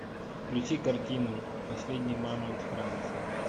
включи картину последний мамонт франции